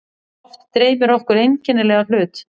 Oft dreymir okkur einkennilega hlut.